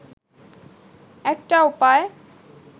একটা উপায়